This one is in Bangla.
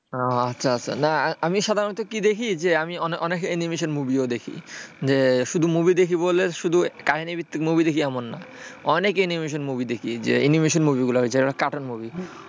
আচ্ছা আচ্ছা না আমি সাধারণত কি দেখি যে আমি অনেক animation movie দেখি, যে movie দেখি বলে শুধু কাহিনীভিত্তিক মুভি দেখি এমন না অনেক animation movie দেখিওইযে animation movie গুলো cartoon movie,